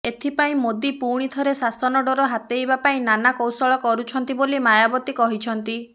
ଏଥିପାଇଁ ମୋଦି ପୁଣି ଥରେ ଶାସନ ଡୋର ହାତେଇବା ପାଇଁ ନାନା କୌଶଳ କରୁଛନ୍ତି ବୋଲି ମାୟାବତୀ କହିଛନ୍ତି